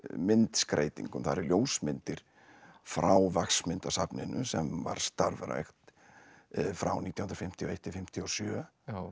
myndskreytingum það eru ljósmyndir frá sem var starfrækt frá nítján hundruð fimmtíu og eitt til fimmtíu og sjö